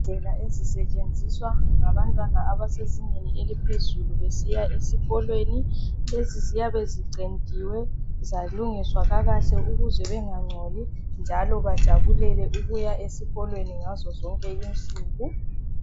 Indlela ezisetshenziswa ngabantwana abasezingeni eliphezulu besiya esikolweni lezi ziyabe zicentiwe zalungiswa kahle ukuze bangangcoli njalo bajabulele ukuya esikolweni ngazo zonke insuku.